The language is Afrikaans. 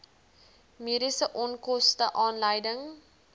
mediese onkoste aanleiding